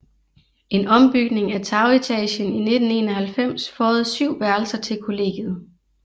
En ombygning af tagetagen i 1991 føjede syv værelser til kollegiet